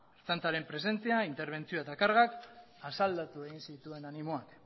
ertzaintzaren presentzia interbentzioa eta kargak asaldatu egin zituen animoak